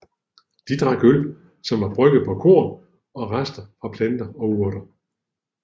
De drak øl som var brygget på korn og rester fra planter og urter